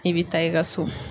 I be taa i ka so.